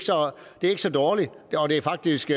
er så dårligt det er faktisk